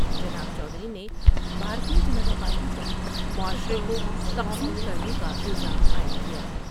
جناب چودھری نے بھارتیہ جنتا پارٹی پر معاشرے کو تقسیم کرنے کا الزام عائد کیا ۔